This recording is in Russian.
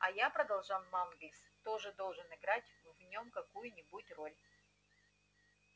а я продолжал манлис тоже должен играть в нём какую-нибудь роль